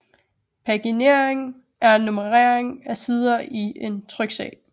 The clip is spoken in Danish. Paginering er nummerering af sider i en tryksag